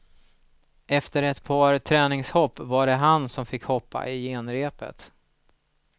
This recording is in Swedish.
Efter ett par träningshopp var det han som fick hoppa i genrepet.